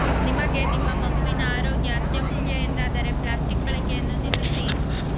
ನಿಮಗೆ ನಿಮ್ಮ ಮಗುವಿನ ಆರೋಗ್ಯ ಅತ್ಯಮೂಲ್ಯ ಎಂದಾದರೆ ಪ್ಲಾಸ್ಟಿಕ್ ಬಳಕೆಯನ್ನು ನಿಲ್ಲಿಸಿ